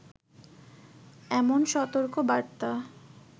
এমন সতর্ক বার্তা